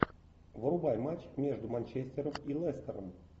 врубай матч между манчестером и лестером